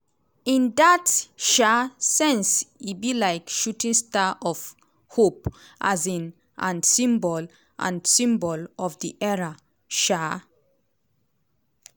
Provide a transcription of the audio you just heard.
in dat um sense e be like shooting star of hope um and symbol and symbol of di era um